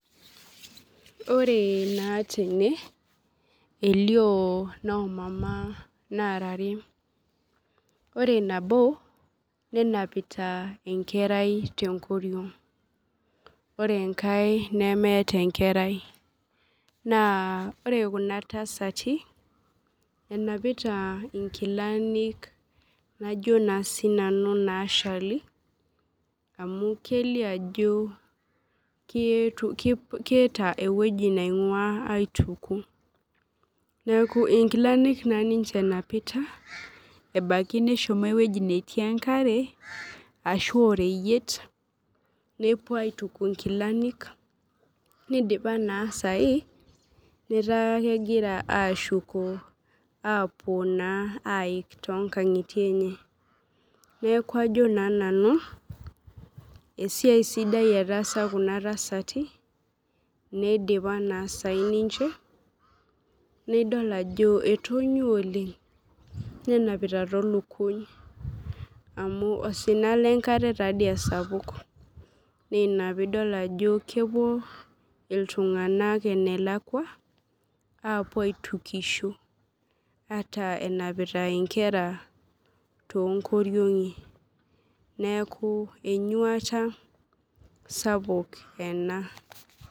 Ore na tene elio nomama nara are ore nabo nenapita enkerai tenkoriong ore enkaenemeeta enkerai ore kuna tasati enapita nkilani najobna sinanu nashali amu kelio ajo keeta ewoi naingua aituku neaku nkilani na ninye enapita ebaki neshomoita ewoi natii enkare nepuo aituku nkilani nidipa na sai eta kegira ashuko apuo aik tonkangitie nekau ajo nanu esiai sidai ena nidipa sai ninche nidol ajo etanyua oleng nenapita tolukuny amu osina lenkare osapuk na ina pidolta ajo kepuo ltunganak enelakwa apuo aitukisho ataa enapita nkera to koriongi neaku enyuata sapuk ena.